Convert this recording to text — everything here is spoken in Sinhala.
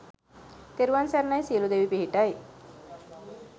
තෙරුවන් සරණයි සියලු දෙවි පිහිටයි